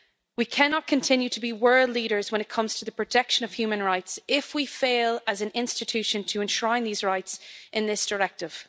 We cannot continue to be world leaders when it comes to the protection of human rights if we fail as an institution to enshrine these rights in this directive.